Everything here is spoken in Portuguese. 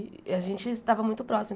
E a gente estava muito próximo.